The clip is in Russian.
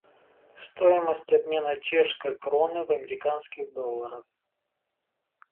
стоимость обмена чешской кроны в американских долларах